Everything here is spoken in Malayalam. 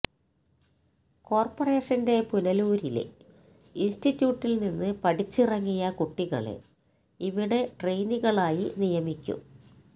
കോര്പ്പറേഷന്റെ പുനലൂരിലെ ഇന്സ്റ്റിറ്റ്യൂട്ടില്നിന്ന് പഠിച്ചിറങ്ങിയ കുട്ടികളെ ഇവിടെ ട്രെയിനികളായി നിയമിക്കും